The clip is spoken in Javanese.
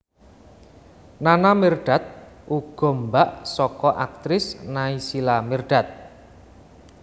Nana Mirdad uga mbak saka aktris Naysila Mirdad